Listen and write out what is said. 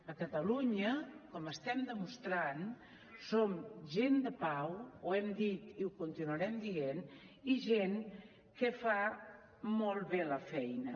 a catalunya com estem demostrant som gent de pau ho hem dit i ho continuarem dient i gent que fa molt bé la feina